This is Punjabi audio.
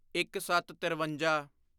ਇੱਕਸੱਤਤਿਰਵੰਜਾ